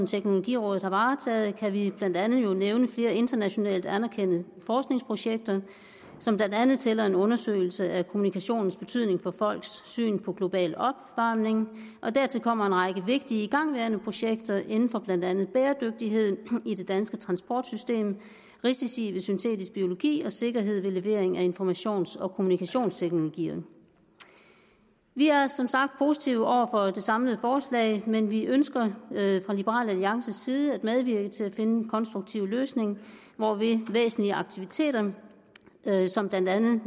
teknologirådet har varetaget kan vi jo blandt andet nævne flere internationalt anerkendte forskningsprojekter som blandt andet tæller en undersøgelse af kommunikationens betydning for folks syn på global opvarmning og dertil kommer en række vigtige igangværende projekter inden for blandt andet bæredygtighed i det danske transportsystem risici ved syntetisk biologi og sikkerhed ved levering af informations og kommunikationsteknologier vi er som sagt positive over for det samlede forslag men vi ønsker fra liberal alliances side at medvirke til at finde en konstruktiv løsning hvorved væsentlige aktiviteter som blandt andet